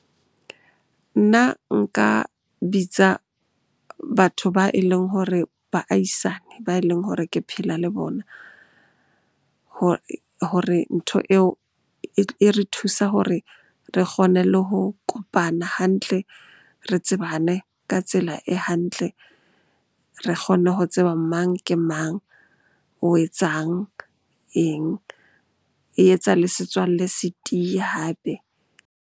Nna nka bitsa batho ba e leng hore, baahisane ba e leng hore ke phela le bona hore ntho eo e re thusa hore re kgone le ho kopana hantle, re tsebane ka tsela e hantle. Re kgone ho tseba mang ke mang? O etsang? Eng? E etsa le setswalle se tiye hape.